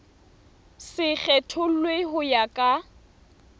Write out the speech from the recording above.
se kgethollwe ho ya ka